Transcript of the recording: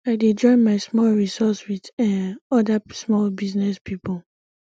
i dey join my small resource wit um oda small business pipo